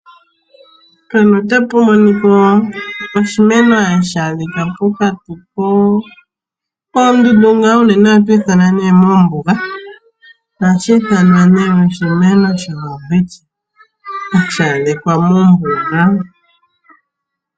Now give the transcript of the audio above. Opu na oshimeno shono hashi adhika pokati oondundu unee ohashi kala ne moombuga. Ohashi adhika mombuga oha kutiwa oshimeno sho Welwitchia hashi adhika mombuga yaNamib.